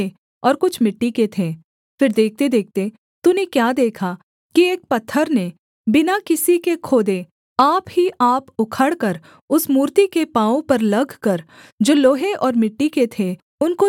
फिर देखतेदेखते तूने क्या देखा कि एक पत्थर ने बिना किसी के खोदे आप ही आप उखड़कर उस मूर्ति के पाँवों पर लगकर जो लोहे और मिट्टी के थे उनको चूर चूरकर डाला